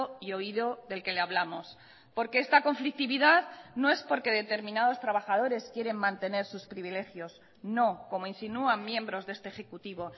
y oído del que le hablamos porque esta conflictividad no es porque determinados trabajadores quieren mantener sus privilegios no como insinúan miembros de este ejecutivo